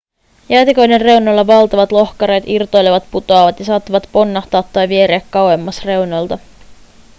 jäätiköiden reunoilla valtavat lohkareet irtoilevat putoavat ja saattavat ponnahtaa tai vieriä kauemmas reunoilta